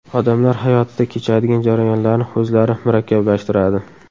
Odamlar hayotida kechadigan jarayonlarni o‘zlari murakkablashtiradi.